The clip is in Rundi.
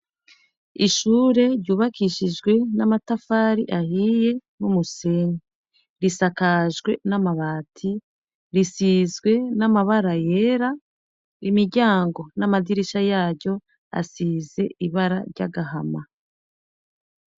Ishure ryubakishijwe n'amatafari ahiye n'umusenyi, risakajwe n'amabati risizwe n'amabara yera, imiryango n'amadirisha yaryo asize ibara ry'agahama.